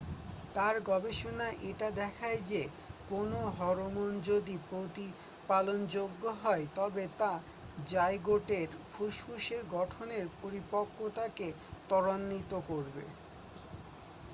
তার গবেষণা এটা দেখায় যে কোনও হরমোন যদি প্রতিপালনযোগ্য হয় তবে তা জাইগোটের ফুসফুসের গঠনের পরিপক্কতাকে তরাণ্বিত করবে